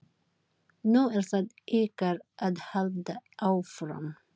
Nú er það ykkar að halda áfram.